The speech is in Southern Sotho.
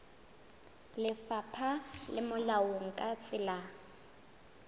lefapha le molaong ka tsela